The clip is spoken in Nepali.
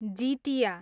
जितिया